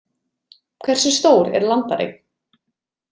Hversu stór er landareign?